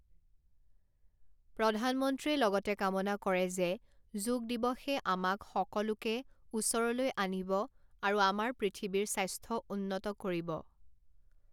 প্ৰধানমন্ত্ৰীয়ে লগতে কামনা কৰে যে যোগ দিৱসে আমাক সকলোকে ওচৰলৈ আনিব আৰু আমাৰ পৃথিৱীৰ স্বাস্থ্যউন্নত কৰিব।